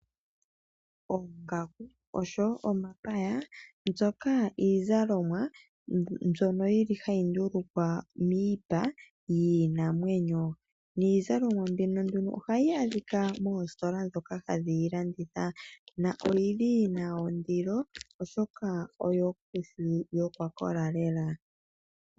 Oongaku oshowo omapaya, mbyoka iizalomwa mbyono yili hayi ndulukwa miipa yiinamwenyo. Niizalomwa mbino nduno ohayi adhika moositola dhoka hadhi yi landitha na oyili yina ondilo, oshoka oyo ngushu yo oya kola lela.